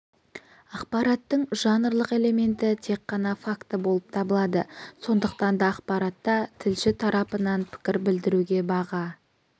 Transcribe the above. ақпараттың жанрлық элементі тек қана факті болып табылады сондықтан да ақпаратта тілші тарапынан пікір білдіруге баға